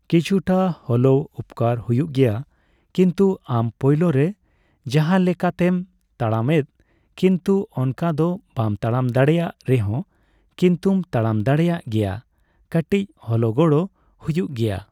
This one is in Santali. ᱠᱤᱪᱷᱩᱴᱟ ᱦᱚᱞᱳᱣ ᱩᱯᱚᱠᱟᱨ ᱦᱩᱭᱩᱜ ᱜᱮᱭᱟ᱾ ᱠᱤᱱᱛᱩ ᱟᱢ ᱯᱳᱭᱞᱳᱨᱮ ᱡᱟᱦᱟᱸᱞᱮᱠᱟᱛᱮᱢ ᱛᱟᱲᱟᱢᱮᱫ ᱠᱤᱱᱛᱩ ᱚᱱᱠᱟ ᱫᱚ ᱵᱟᱢ ᱛᱟᱲᱟᱢ ᱫᱟᱲᱮᱭᱟᱜ ᱨᱮᱦᱚᱸ ᱠᱤᱱᱛᱩᱢ ᱛᱟᱲᱟᱢ ᱫᱟᱲᱮᱭᱟᱜ ᱜᱮᱭᱟ, ᱠᱟᱹᱴᱤᱪ ᱦᱚᱞᱚ ᱜᱚᱲᱚ ᱦᱩᱭᱩᱜ ᱜᱮᱭᱟ᱾